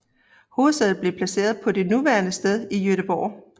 Hovedsædet blev placeret på det nuværende sted i Göteborg